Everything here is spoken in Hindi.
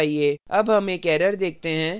अब हम एक error देखते हैं जो आ सकती है